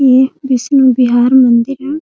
ये विष्णु बिहार मंदिर है।